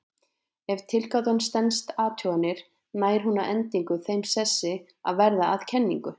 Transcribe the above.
Ef tilgátan stenst athuganir nær hún að endingu þeim sessi að verða að kenningu.